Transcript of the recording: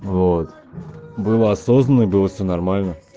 вот было осознанно и было все нормально